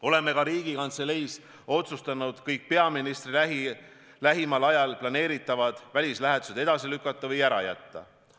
Oleme ka Riigikantseleis otsustanud kõik peaministri lähimal ajal planeeritud välislähetused edasi lükata või ära jätta.